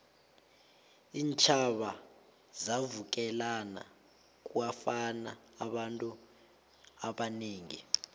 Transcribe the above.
iintjhaba zavukelana kwafa abantu abanengi